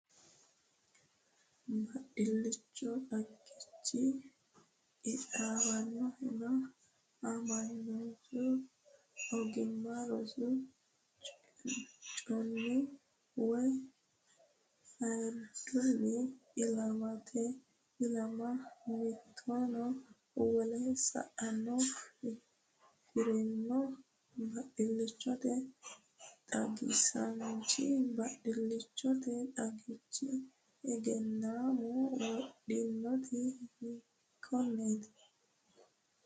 Baadillichote xagichi qixxaawannohunna aamamannohu ogimma rosi chunni woy ayiddunni ilamatenni ilama mittunni woleho sa”anna afi’rino baadillichote xagisaanchi baadillichote xagichi egennaami widoonniiti, hiikkonneeti?